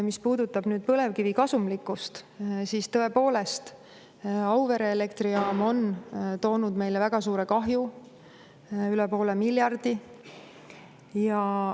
Mis puudutab põlevkivi kasumlikkust, siis tõepoolest, Auvere elektrijaam on toonud meile väga suure kahju, üle poole miljardi.